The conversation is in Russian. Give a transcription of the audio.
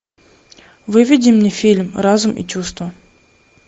выведи мне фильм разум и чувства